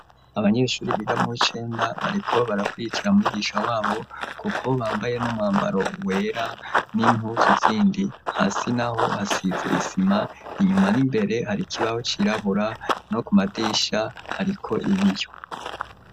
Abanyeshuri biga muw'icenda bariko barakwirikira umwigisha wabo kuko bambaye n'umwambaro wera n'impuzu zindi. Hasi naho hasize isima, inyuma n'imbere hari kibaho cirabura, no ku madirisha hariko ibiyo.